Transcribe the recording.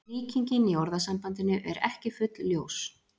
Líkingin í orðasambandinu er ekki fullljós.